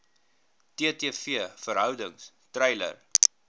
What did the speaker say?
ttv verhoudings treiler